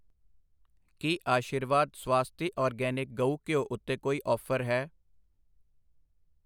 ਕੀ Aashirvaad Svasti organic ਗਊ ਘਿਓ ਉੱਤੇ ਕੋਈ ਆਫ਼ਰ ਹੈ?